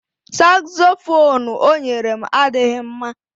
Sakzofuunu o nyere m adịghị mma